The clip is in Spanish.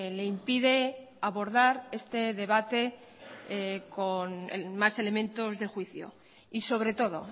le impide abordar este debate con más elementos de juicio y sobre todo